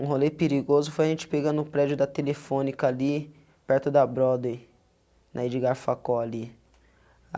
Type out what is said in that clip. Um rolê perigoso foi a gente pegando o prédio da telefônica ali perto da Broadway, na Edgar Facó ali.